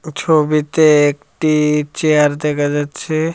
ছবিতে একটি চেয়ার দেখা যাচ্ছে।